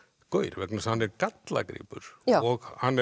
gaur vegna þess að hann er gallagripur og hann